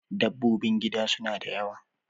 Dabbobin gida suna da yawa